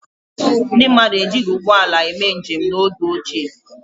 Ndị mmadụ ejighi ụgbọala mee njem n’oge ochie.